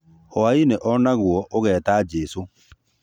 Hwaĩ-inĩ o naguo ũgeta jesũ